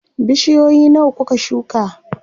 Bishiyoyi nawa kuka shuka?